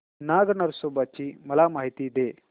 नाग नरसोबा ची मला माहिती दे